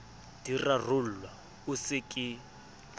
di rarollwa o se ke